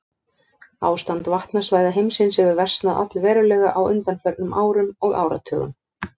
Ástand vatnasvæða heimsins hefur versnað allverulega á undanförnum árum og áratugum.